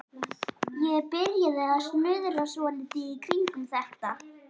Ég byrjaði að snuðra svolítið í kringum þetta.